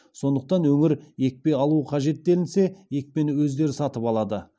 сондықтан өңір екпе алуы қажет делінсе екпені өздері сатып алады